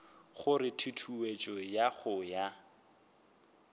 gore tutuetšo ya go ya